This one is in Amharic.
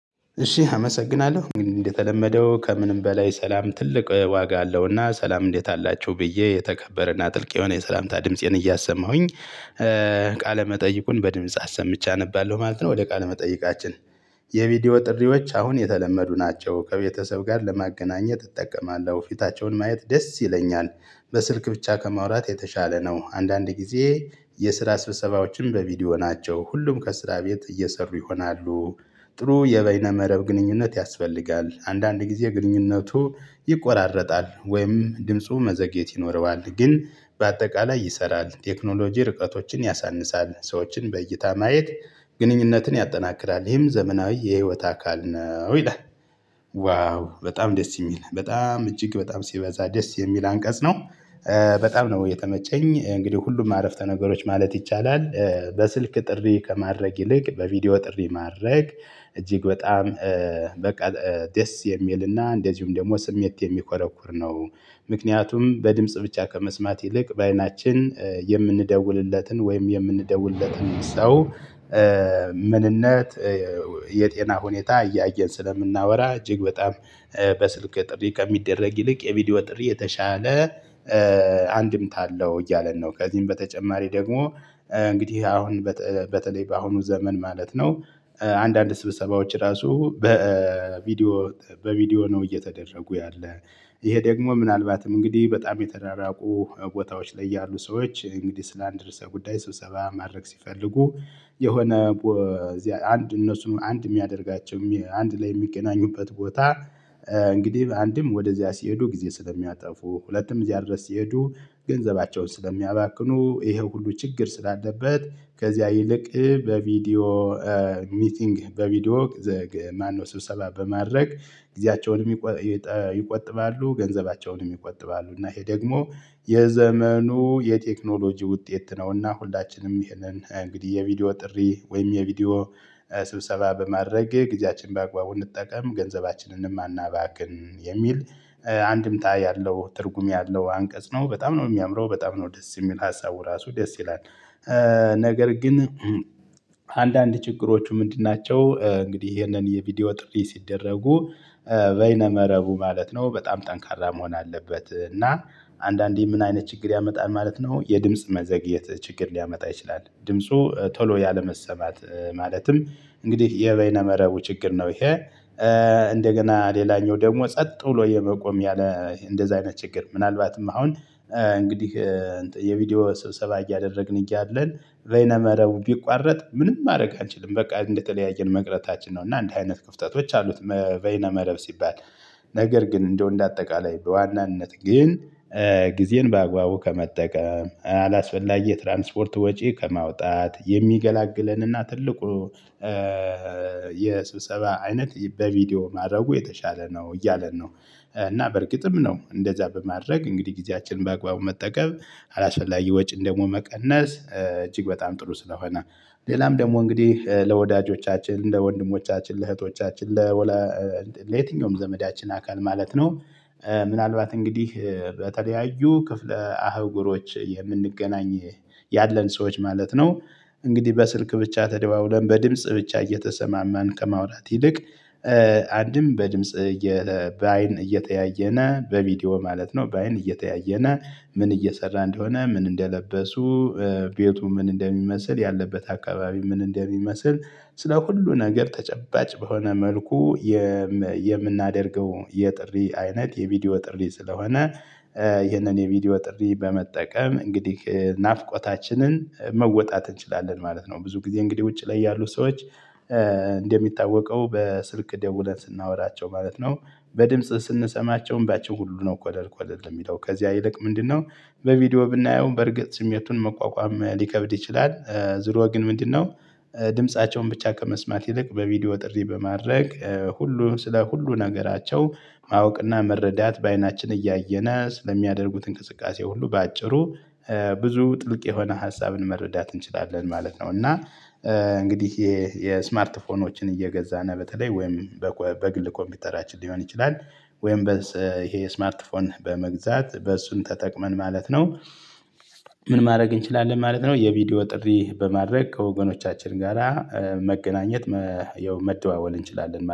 እሺ አመሰግናለሁ እንደተለመደው ከምንም በላይ ሰላም ትልቅ ዋጋ አለውና ሰላም እንዴት አላችሁ ብዬ የተከበረና ጥልቅ የሆነ የሰላምታ ድምፄን እያሰማሁኝ ቃለ መጠይቁን በድምጽ አሰምቼ አነባለሁ ማለት ነው። ወደ ቃለ መጠይቃችን የቪዲዮ ጥሪዎች አሁን የተለመዱ ናቸው ከቤተሰብ ጋር ለማገናኘት እጠቀማለሁ ፊታቸውን ማየት ደስ ይለኛል። በስልክ ብቻ ከማውራት የተሻለ ነው። አንዳንድ ጊዜ የስራ ስብሰባዎችን በቪዲዮ ናቸው ሁሉም ከስራ ቤት እየሰሩ ይሆናሉ። ጥሩ የበይነ መረብ ግንኙነት ያስፈልጋል። አንዳንድ ጊዜ ግንኙነቱ ይቆራረጣል ወይም ድምፁ መዘግየት ይኖረዋል። ግን በአጠቃላይ ይሰራል ቴክኖሎጂ ርቀቶችን ያሳንሳል ሰዎችን በእይታ ማየት ግንኙነትን ያጠናክራል። ይህም ዘመናዊ የህይወት አካል ነው ይላል። ዋው በጣም ደስ የሚል በጣም እጅግ በጣም ሲበዛ ደስ የሚል አንቀጽ ነው። በጣም ነው የተመቸኝ እንግዲህ ሁሉም አረፍተ ነገሮች ማለት ይቻላል። በስልክ ጥሪ ከማድረግ ይልቅ በቪዲዮ ጥሪ ማድረግ እጅግ በጣም በቃ ደስ የሚልና እንደዚሁም ደግሞ ስሜት የሚኮረኩር ነው። ምክንያቱም በድምጽ ብቻ ከመስማት ይልቅ በአይናችን የምንደውልለትን ወይም የምንደውልለትን ሰው። ምንነት የጤና ሁኔታ እያየን ስለምናወራ እጅግ በጣም። በስልክ ጥሪ ከሚደረግ ይልቅ የቪዲዮ ጥሪ የተሻለ አንድምታ አለው እያለን ነው። ከዚህም በተጨማሪ ደግሞ እንግዲህ አሁን በተለይ በአሁኑ ዘመን ማለት ነው። አንዳንድ ስብሰባዎች ራሱ በቪዲዮ በቪዲዮ ነው እየተደረጉ ያለ። ይሄ ደግሞ ምናልባትም እንግዲህ በጣም የተራራቁ ቦታዎች ላይ ያሉ ሰዎች እንግዲህ ስላንድ ርዕሰ ጉዳይ ስብሰባ ማድረግ ሲፈልጉ። የሆነ እዚያ አንድ እነሱን አንድ የሚያደርጋቸው አንድ ላይ የሚገናኙበት ቦታ። እንግዲህ አንድም ወደዚያ ሲሄዱ ጊዜ ስለሚያጠፉ ሁለትም እዚያ ድረስ ሲሄዱ ገንዘባቸውን ስለሚያባክኑ ይሄው ሁሉ ችግር ስላለበት። ከዚያ ይልቅ በቪዲዮ ሚቲንግ በቪዲዮ ዘግ ማነው ስብሰባ በማድረግ ጊዜያቸውን ይቆጥባሉ ገንዘባቸውንም ይቆጥባሉ። እና ይሄ ደግሞ የዘመኑ የቴክኖሎጂ ውጤት ነውና ሁላችንም ይሄንን እንግዲህ የቪዲዮ ጥሪ ወይም የቪዲዮ ስብሰባ በማድረግ ጊዜያችንን በአግባቡ እንጠቀም ገንዘባችንንም አናባክን የሚል አንድምታ ያለው ትርጉም ያለው አንቀጽ ነው። በጣም ነው የሚያምረው በጣም ነው ደስ የሚል ሀሳቡ ራሱ ደስ ይላል። ነገር ግን አንዳንድ ችግሮቹ ምንድን ናቸው? እንግዲህ ይሄንን የቪዲዮ ጥሪ ሲደረጉ በይነ መረቡ ማለት ነው በጣም ጠንካራ መሆን አለበት። እና አንዳንዴ ምን አይነት ችግር ያመጣል ማለት ነው። የድምጽ መዘግየት ችግር ሊያመጣ ይችላል ድምፁ ቶሎ ያለመሰማት ማለትም እንግዲህ የበይነ መረቡ ችግር ነው። ይሄ እንደገና ሌላኛው ደግሞ ጸጥ ብሎ የመቆም ያለ እንደዚህ አይነት ችግር ምናልባትም አሁን እንግዲህ። የቪዲዮ ስብሰባ እያደረግን እያለን በይነ መረቡ ቢቋረጥ ምንም ማድረግ አንችልም በቃ እንደተለያየን መቅረታችን ነው። እና እንዲህ አይነት ክፍተቶች አሉት። በይነ መረብ ሲባል ነገር ግን እንደው እንደ አጠቃላይ በዋናነት ግን። ጊዜን ባግባቡ ከመጠቀም አላስፈላጊ የትራንስፖርት ወጪ ከማውጣት የሚገላግለን እና ትልቁ የስብሰባ አይነት በቪዲዮ ማድረጉ የተሻለ ነው እያለን ነው። እና በእርግጥም ነው እንደዛ በማድረግ እንግዲህ ጊዜያችንን በአግባቡ መጠቀም አላስፈላጊ ወጪን ደግሞ መቀነስ እጅግ በጣም ጥሩ ስለሆነ። ሌላም ደግሞ እንግዲህ ለወዳጆቻችን ለወንድሞቻችን ለእህቶቻችን ለየትኛውም ዘመዳችን አካል ማለት ነው። ምናልባት እንግዲህ በተለያዩ ክፍለ አህጉሮች የምንገናኝ ያለን ሰዎች ማለት ነው። እንግዲህ በስልክ ብቻ ተደዋውለን በድምጽ ብቻ እየተሰማማን ከማውራት ይልቅ አንድም በድምጽ በአይን እየተያየነ በቪዲዮ ማለት ነው። በአይን እየተያየነ ምን እየሰራ እንደሆነ ምን እንደለበሱ ቤቱ ምን እንደሚመስል ያለበት አካባቢ ምን እንደሚመስል ስለ ሁሉ ነገር ተጨባጭ በሆነ መልኩ የምናደርገው የጥሪ አይነት የቪዲዮ ጥሪ ስለሆነ። ይህንን የቪዲዮ ጥሪ በመጠቀም እንግዲህ ናፍቆታችንን መወጣት እንችላለን ማለት ነው። ብዙ ጊዜ እንግዲህ ውጪ ላይ ያሉ ሰዎች እንደሚታወቀው በስልክ ደውለን ስናወራቸው ማለት ነው። በድምጽ ስንሰማቸው እምባቸው ሁሉ ነው ደርቆልል የሚለው ከዚያ ይልቅ ምንድነው? በቪዲዮ ብናየው በርግጥ ስሜቱን መቋቋም ሊከብድ ይችላል። ዙሮ ግን ምንድነው? ድምፃቸውን ብቻ ከመስማት ይልቅ በቪዲዮ ጥሪ በማድረግ ሁሉ ስለ ሁሉ ነገራቸው ማወቅና መረዳት በአይናችን እያየነ ስለሚያደርጉት እንቅስቃሴ ሁሉ በአጭሩ ብዙ ጥልቅ የሆነ ሀሳብን መረዳት እንችላለን ማለት ነው። እና እንግዲህ ይሄ የስማርት ፎኖችን እየገዛነ በተለይ ወይም በግል ኮምፒውተራችን ሊሆን ይችላል። ወይም ይሄ የስማርት ፎን በመግዛት በእሱን ተጠቅመን ማለት ነው። ምን ማድረግ እንችላለን ማለት ነው። የቪዲዮ ጥሪ በማድረግ ከወገኖቻችን ጋራ መገናኘት የመደወል እንችላለን ማለት ነው